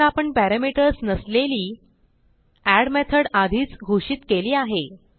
कारण आपण पॅरामीटर्स नसलेली एड मेथड आधीच घोषित केली आहे